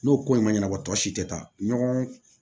N'o ko in ma ɲɛnabɔ tɔ si tɛ taa ɲɔgɔn